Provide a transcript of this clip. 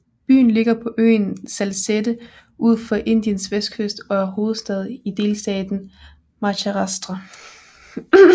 Byen ligger på øen Salsette ud for Indiens vestkyst og er hovedstad i delstaten Maharashtra